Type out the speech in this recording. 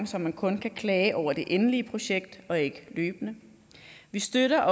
så man kun kan klage over det endelige projekt og ikke løbende vi støtter